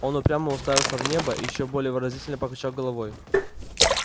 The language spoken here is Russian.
он упрямо уставился в небо и ещё более выразительно покачал головой